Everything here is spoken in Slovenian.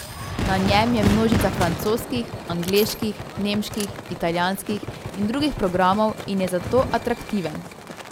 Na njem je množica francoskih, angleških, nemških, italijanskih in drugih programov in je zato atraktiven.